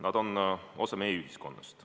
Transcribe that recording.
Nad on osa meie ühiskonnast.